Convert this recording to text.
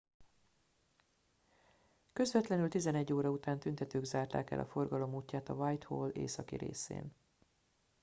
közvetlenül 11:00 óra után tüntetők zárták el a forgalom útját a whitehall északi részén